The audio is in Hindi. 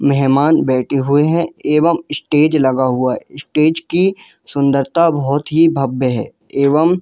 मेहमान बैठे हुए है एवं स्टेज लगा हुआ है स्टेज की सुंदरता बहुत ही भव्य है एवम --